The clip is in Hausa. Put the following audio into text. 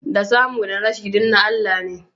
Da samu da rashi, duk na Allah ne